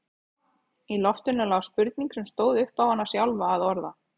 Í loftinu lá spurning sem stóð upp á hana sjálfa að orða.